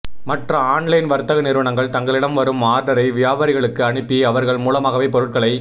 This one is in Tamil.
மற்ற ஆன்லைன் வர்த்தக நிறுவனங்கள் தங்களிடம் வரும் ஆர்டரை வியாபாரிகளுக்கு அனுப்பி அவர்கள் மூலமாகவே பொருட்களை